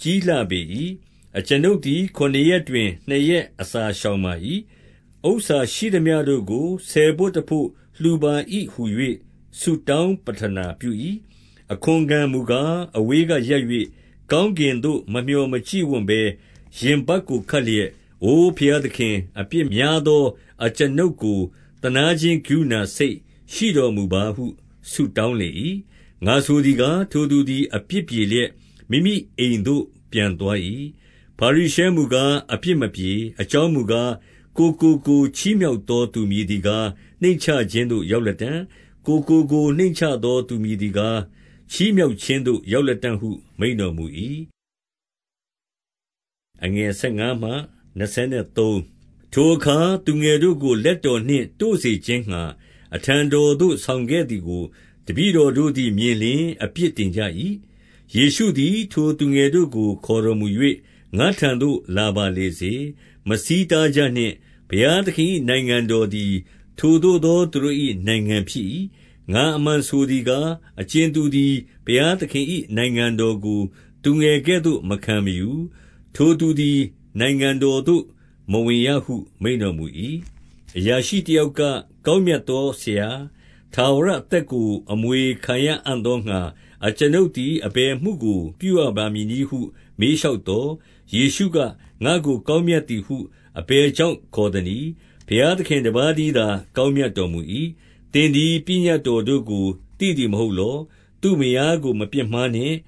ကြီးလှပေ၏။ အကျွန်ုပ်သည် ခုနှစ်ရက်တွင် နှစ်ရက်အစာရှောင်ပါ၏။ ဥစ္စာရှိသမျှတို့ကို ဆယ်ဘို့တဘို့ လှူပါ၏ဟူ ၍ ဆုတောင်းပဌနာပြု၏။ အခွန်ခံမူကား၊ အဝေးကရပ်၍ ကောင်းကင်သို့မမျှော်မကြည့်ဝံ့ဘဲ ရင်ပတ်ကိုခက်လျက်၊ အို ဘုရားသခင်၊ အပြစ်များသော အကျွန်ုပ်ကို သနားခြင်းကရုဏာစိတ် ရှိတော်မူပါဟုဆုတောင်းလေ၏။ ငါဆိုသည်ကား၊ ထိုသူသည် အပြစ်ပြေလျက် မိမိအိမ်သို့ပြန်သွား၏။ ဖာရိရှဲမူကား အပြစ်မပြေ။ အကြောင်းမူကား၊ ကိုယ်ကိုကိုယ် ချီးမြှောက်သောသူ မည်သည်ကား၊ နှိမ့်ချခြင်းသို့ရောက်လတံ့။ ကိုယ်ကိုကိုယ် နှိမ့်ချသောသူမည်သည်ကား၊ ချီးမြှောက်ခြင်းသို့ရောက်လတံ့ဟု မိန့်တော်မူ၏။ ထိုအခါ သူငယ်တို့ကို လက်တော်နှင့်တို့စေခြင်းငှါ အထံတော်သို့ ဆောင်ခဲ့သည်ကို တပည့်တော် တို့သည် မြင်လျှင် အပြစ်တင်ကြ၏။ ယေရှုသည် ထိုသူငယ်တို့ကို ခေါ်တော်မူ၍ ငါ့ထံသို့လာပါလေစေ။ မဆီးတားကြနှင့်။ ဘုရားသခင်၏ နိုင်ငံတော်သည် ထိုသို့သောသူတို့၏နိုင်ငံဖြစ်၏။ ငါအမှန်ဆိုသည်ကား၊ အကြင်သူသည် ဘုရားသခင်၏နိုင်ငံတော်ကို သူငယ်ကဲ့သို့ မခံမယူ၊ ထိုသူသည် နိုင်ငံတော်သို့ မဝင်ရဟု မိန့်တော်မူ၏။ အရာရှိတယောက်က၊ ကောင်းမြတ်သောဆရာ၊ ထာဝရအသက်ကို အမွေခံရအံ့သောငှါ အကျွန်ုပ် သည် အဘယ်အမှုကို ပြုရပါမည်နည်းဟု မေးလျှောက်သော်၊ ယေရှုက၊ ငါ့ကို ကောင်းမြတ်သည်ဟု အဘယ်ကြောင့်ခေါ်သနည်း။ ဘုရားသခင်တပါးတည်းသော ကောင်းမြတ်တော်မူ၏။ သင်သည် ပညတ်တော်တို့ကို သိသည်မဟုတ်လော။ သူ့မယားကို မပြစ်မှားနှင့်။